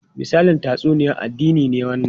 Misalin tatsuniyar addini ne wannan?